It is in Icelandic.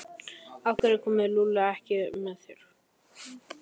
Af hverju kom Lúlli ekki með þér?